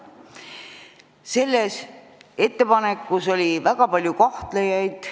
Selles ettepanekus oli aga väga palju kahtlejaid.